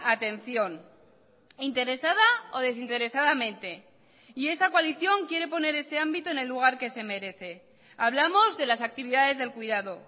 atención interesada o desinteresadamente y esta coalición quiere poner ese ámbito en el lugar que se merece hablamos de las actividades del cuidado